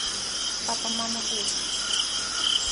папа мама гусь